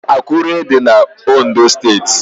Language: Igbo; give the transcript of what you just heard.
Akure dị na Ondo steeti